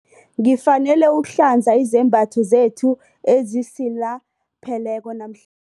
Ngifanele ukuhlanza izembatho zethu ezisilapheleko namhl